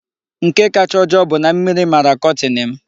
Nke kacha ojoo bụ na mmiri mara kọtin m.